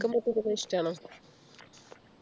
പടക്കം പൊട്ടിക്കുന്നത് ഇഷ്ടമാണോ